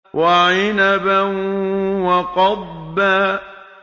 وَعِنَبًا وَقَضْبًا